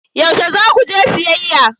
Yaushe za ku je siyayya?